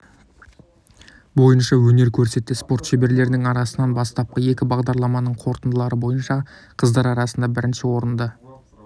бойынша өнер көрсетті спорт шеберлерінің арасынан бастапқы екі бағдарламаның қорытындылары бойынша қыздар арасында бірінші орынды